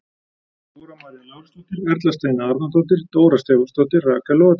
Dóra María Lárusdóttir- Erla Steina Arnardóttir- Dóra Stefánsdóttir- Rakel Logadóttir